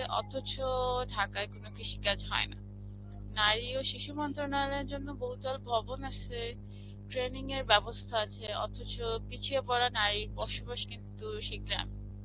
অথছও ঢাকায় কোনো কৃষিকাজ হয়না. নারী ও শিশু মন্ত্রালয়ের জন্যে বহুতল ভবন আসে, training এর ব্যবস্থা আসে, অথছ পিছিয়ে পড়া নারীর বসবাস কিন্তু সেই গ্রাম.